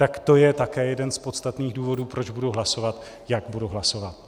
Tak to je také jeden z podstatných důvodů, proč budu hlasovat, jak budu hlasovat.